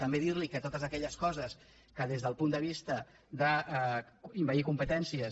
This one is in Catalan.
també dir li que totes aquelles coses que des del punt de vista d’envair competències